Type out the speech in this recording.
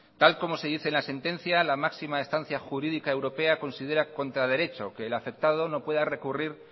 tal como se dice en la sentencia la máxima estancia jurídica europea considera contra derecho que el afectado no pueda recurrir